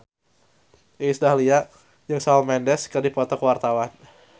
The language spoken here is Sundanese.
Iis Dahlia jeung Shawn Mendes keur dipoto ku wartawan